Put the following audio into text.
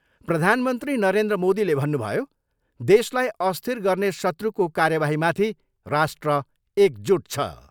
प्रधानमन्त्री नरेन्द्र मोदीले भन्नुभयो, देशलाई अस्थिर गर्ने शत्रुको कार्यवाहीमाथि राष्ट्र एकजुट छ।